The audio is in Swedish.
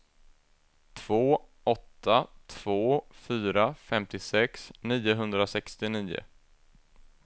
två åtta två fyra femtiosex niohundrasextionio